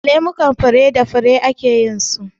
Lemukan fure da fure ake yin su.